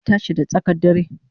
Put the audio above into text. Na tashi da tsakan dare